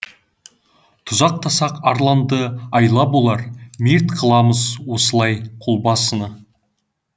тұзақтасақ арланды айла болар мерт қыламыз осылай қолбасыны